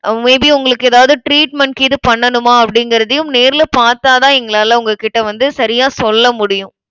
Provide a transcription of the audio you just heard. may be உங்களுக்கு ஏதாவது treatment கீது பண்ணனுமா? அப்படிங்கறதையும், நேர்ல பார்த்தாதான் எங்களால உங்ககிட்ட வந்து சரியா சொல்லமுடியும்.